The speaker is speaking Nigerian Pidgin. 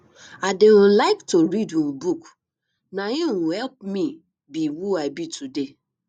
i dey um like to read um book na im um help me be who i be today